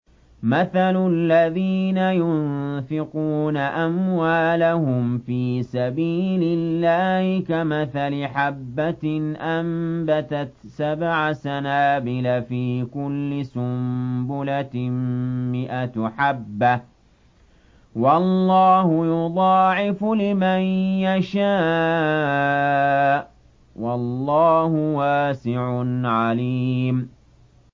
مَّثَلُ الَّذِينَ يُنفِقُونَ أَمْوَالَهُمْ فِي سَبِيلِ اللَّهِ كَمَثَلِ حَبَّةٍ أَنبَتَتْ سَبْعَ سَنَابِلَ فِي كُلِّ سُنبُلَةٍ مِّائَةُ حَبَّةٍ ۗ وَاللَّهُ يُضَاعِفُ لِمَن يَشَاءُ ۗ وَاللَّهُ وَاسِعٌ عَلِيمٌ